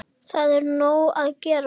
Það er nóg að gera.